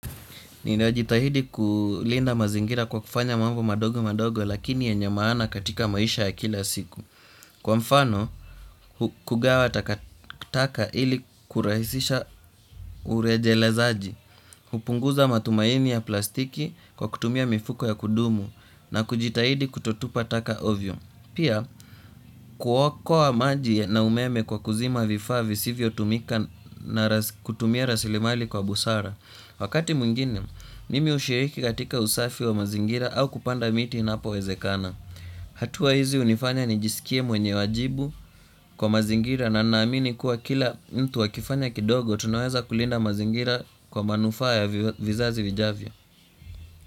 Ninajitahidi kulinda mazingira kwa kufanya mambo madogo madogo lakini yenye maana katika maisha ya kila siku. Kwa mfano, kugawa taka ili kurahisisha urejelezaji. Hupunguza matumaini ya plastiki kwa kutumia mifuko ya kudumu na kujitahidi kutotupa taka ovyo. Pia, kuokoa maji na umeme kwa kuzima vifaa visivyotumika na kutumia rasilimali kwa busara. Wakati mwingine, mimi hushiriki katika usafi wa mazingira au kupanda miti inapowezekana. Hatua hizi hunifanya nijisikie mwenye wajibu kwa mazingira na naamini kuwa kila mtu akifanya kidogo tunaweza kulinda mazingira kwa manufaa ya vizazi vijavyo.